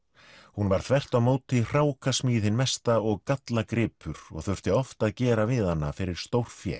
hún var þvert á móti hrákasmíð hin mesta og gallagripur og þurfti oft að gera við hana fyrir stórfé